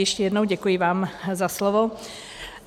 Ještě jednou, děkuji vám za slovo.